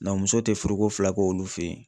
muso tɛ furuko fila k'olu fɛ yen.